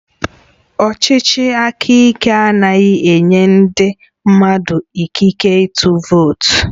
Ọchịchị aka ike anaghị enye ndị mmadụ ikike ịtụ vootu